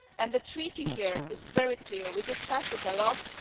The Treaty here is very clear we discussed it a lot.